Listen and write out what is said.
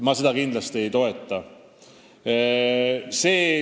Ma seda kindlasti ei toeta.